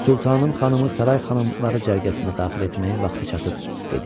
Sultanım xanımı saray xanımları cərgəsinə daxil etməyin vaxtı çatıb, dedi.